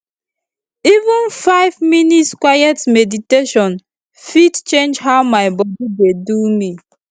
even five minutes quiet meditation fit change how my body dey do me